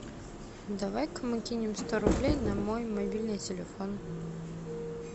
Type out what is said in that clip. давай ка мы кинем сто рублей на мой мобильный телефон